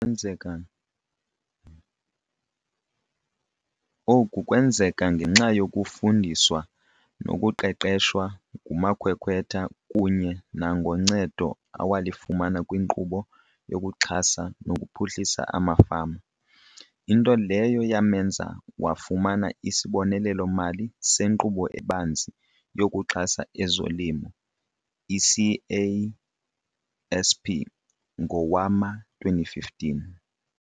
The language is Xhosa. Oku kwenzeka ngenxa yokufundiswa nokuqeqeshwa ngumakhwekhwetha kunye nangoncedo awalifumana kwiNkqubo yokuXhasa nokuPhuhlisa amaFama, into leyo yamenza wafumana isibonelelo-mali seNkqubo eBanzi yokuXhasa ezoLimo, i-CASP, ngowama-2015.